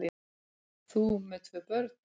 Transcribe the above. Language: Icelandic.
Þú með tvö börn!